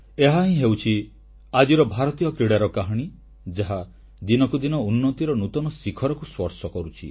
ଏହାହିଁ ହେଉଛି ଆଜିର ଭାରତୀୟ କ୍ରୀଡ଼ାର କାହାଣୀ ଯାହା ଦିନକୁ ଦିନ ଉନ୍ନତିର ନୂତନ ଶିଖରକୁ ସ୍ପର୍ଶ କରୁଛି